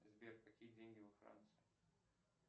сбер какие деньги во франции